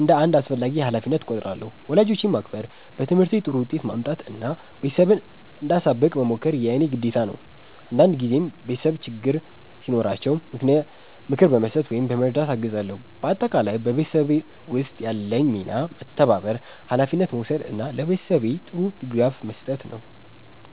እንደ አንድ አስፈላጊ ሀላፊነት እቆጥራለሁ። ወላጆቼን ማክበር፣ በትምህርቴ ጥሩ ውጤት ማምጣት እና ቤተሰቤን እንዳሳብቅ መሞከር የእኔ ግዴታ ነው። አንዳንድ ጊዜም ቤተሰቤ ችግር ሲኖራቸው ምክር በመስጠት ወይም በመርዳት አግዛለሁ። በአጠቃላይ በቤተሰብ ውስጥ ያለኝ ሚና መተባበር፣ ሀላፊነት መውሰድ እና ለቤተሰቤ ጥሩ ድጋፍ መስጠት ነው።